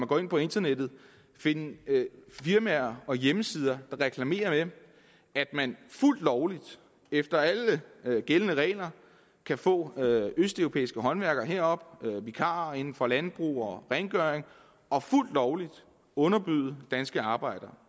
går ind på internettet finde firmaer og hjemmesider der reklamerer med at man fuldt lovligt efter alle gældende regler kan få østeuropæiske håndværkere herop det er vikarer inden for landbrug og rengøring og fuldt lovligt underbyde danske arbejdere